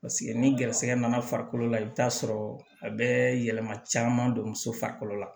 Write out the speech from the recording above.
Paseke ni garisɛgɛ nana farikolo la i bɛ t'a sɔrɔ a bɛ yɛlɛma caman don muso farikolo la